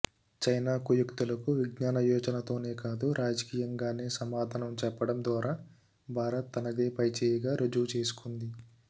China కుయుక్తులకు విజ్ఞాన యోచనతోనే కాదు రాజకీయంగానే సమాధానం చెప్పడం ద్వారా భారత్ తనదే పైచేయిగా రుజువు చేసుకుంది